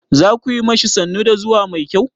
Za ku yi ma shi sannu da zuwa mai kyau?